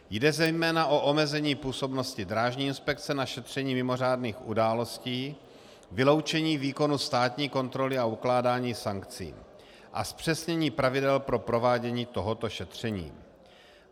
Jde zejména o omezení působnosti drážní inspekce na šetření mimořádných událostí, vyloučení výkonu státní kontroly a ukládání sankcí a zpřesnění pravidel pro provádění tohoto šetření.